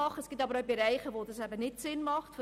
Daneben gibt es Bereiche, wo dies nicht sinnvoll ist.